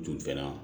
Tun fɛ yan